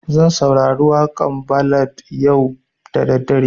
Zan saurari waƙan ballad yau da daddare